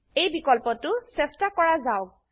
এই বিকল্পটো চেষ্টা কৰা যাওক